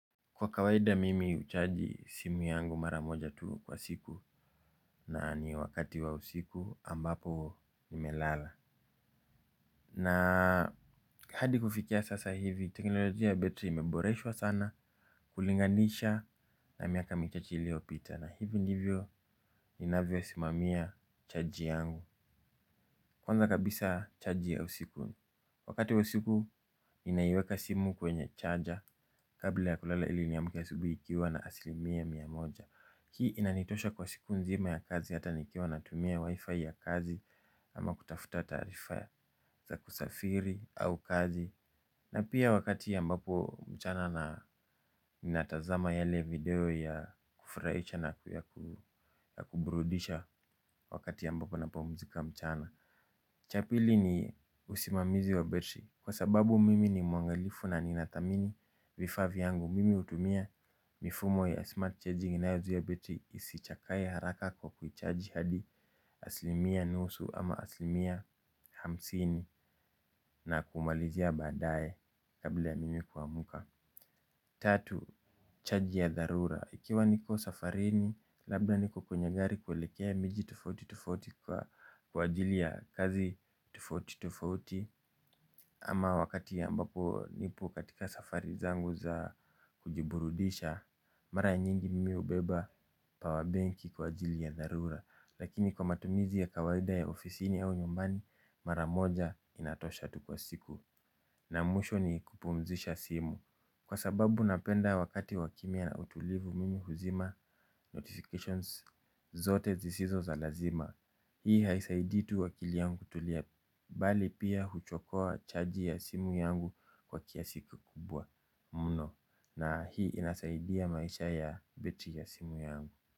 Kwa kawaida mimi uchaji simu yangu mara moja tu kwa siku, na ni wakati wa usiku ambapo nimelala. Na hadi kufikia sasa hivi, teknolojia betiri imeboreshwa sana kulinganisha na miaka michache iliopita na hivi ndivyo inavyosimamia chaji yangu kwanza kabiza chaji ya usiku. Wakati wa usiku inaiweka simu kwenye chaja kabla ya kulala ili niamke asubuhi ikiwa na asilimia mia moja, hii inanitosha kwa siku nzima ya kazi hata nikiwa natumia wifi ya kazi ama kutafuta taarifa za kusafiri au kazi. Na pia wakati ambapo mchana natazama yale video ya kufurahisha na pia ya kuburudisha wakati ambapo ninapopumzika mchana. Cha pili ni husimamisi wa betiri kwa sababu mimi ni mwaangalivu na ninadhamini vifaa vyangu mimi hutumia mifumo wa 'smart charging' inayojaa betiri isichakae haraka kwa kuichaji hadi hasilimia nusu ama hasilimia hamsini na kumalizia baadaye kabla ya mimi kuamka. Tatu, chaji ya dharura. Ikiwa niko safarini labda niko kwenye gari kuelekea mji tofauti tofauti kwa ajili ya kazi tofauti tofauti ama wakati ambapo nipo katika safari zangu za kujiburudisha mara nyingi mimi hubeba power benki kwa ajili ya dharura. Lakini kwa matumizi ya kawaida ya ofisini au nyumbani mara moja inatosha tu kwa siku. Na mwisho ni kupumzisha simu, kwa sababu napenda wakati wa kimya na utulivu mimi huzima 'notifications' zote zisizo za lazima. Hii haisaidii tu akili yangu kutulia, bali pia huchokoa chaji ya simu yangu kwa kiasi kikubwa mno. Na hii inasaidia maisha ya betiri ya simu yangu.